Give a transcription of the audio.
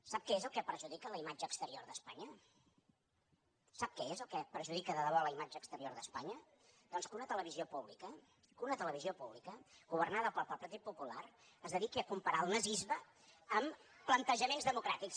sap què és el que perjudica la imatge exterior d’espanya sap què és el que perjudica de debò la imatge exterior d’espanya doncs que una televisió pública governada pel partit popular es dediqui a comparar el nazisme amb plantejaments democràtics